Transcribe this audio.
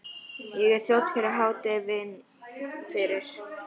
Ég er þjónn fyrir hádegi, vinn fyrir